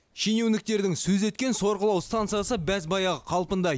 шенеуніктердің сөз еткен сорғылау станциясы баз баяғы қалпындай